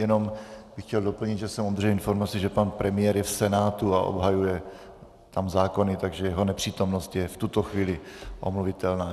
Jenom bych chtěl doplnit, že jsem obdržel informaci, že pan premiér je v Senátu a obhajuje tam zákony, takže jeho nepřítomnost je v tuto chvíli omluvitelná.